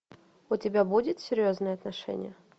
у тебя будет серьезные отношения